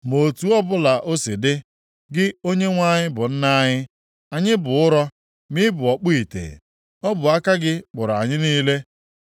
Ma otu ọbụla o si dị, gị Onyenwe anyị bụ Nna anyị. Anyị bụ ụrọ, ma ị bụ ọkpụ ite. Ọ bụ aka gị kpụrụ anyị niile.